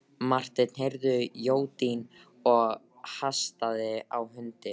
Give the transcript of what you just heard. Marteinn heyrði jódyn og hastaði á hundinn.